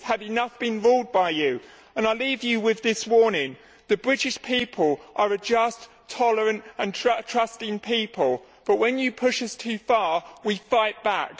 it has had enough of being ruled by you. I leave you with this warning the British people are a just, tolerant and trusting people, but when you push us too far, we fight back.